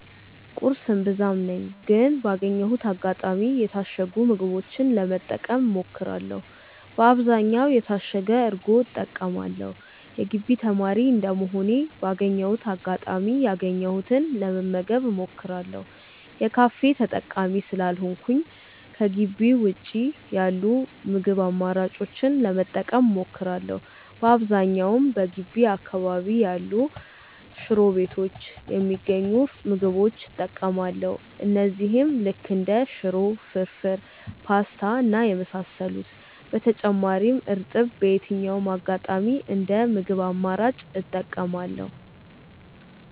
ቁርስ እምብዛም ነኝ ግን ባገኘሁት አጋጣሚ የታሸጉ ምግቦችን ለመጠቀም እሞክራለው በአብዛኛውም የታሸገ እርጎ እጠቀማለው። የግቢ ተማሪ እንደመሆኔ ባገኘሁት አጋጣሚ ያገኘሁትን ለመመገብ እሞክራለው። የካፌ ተጠቃሚ ስላልሆንኩኝ ከጊቢ ውጪ ያሉ የምግብ አማራጮችን ለመጠቀም እሞክራለው። በአብዛኛውም በገቢ አካባቢ ያሉ ሽሮ ቤቶች የሚገኙ ምግቦች እጠቀማለው እነዚህም ልክ እንደ ሽሮ፣ ፍርፉር፣ ፖስታ እና የመሳሰሉት። በተጨማሪም እርጥብ በየትኛውም አጋጣሚ እንደ ምግብ አማራጭ እጠቀማለው።